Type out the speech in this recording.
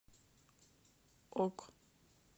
ок